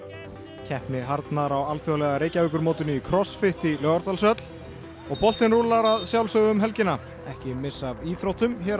keppni harðnar á Alþjóðlega Reykjavíkurmótinu í í Laugardalshöll og boltinn rúllar að sjálfsögðu um helgina ekki missa af íþróttum hér að